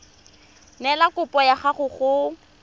neela kopo ya gago go